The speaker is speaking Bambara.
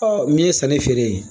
Ɔ min ye sanni feere ye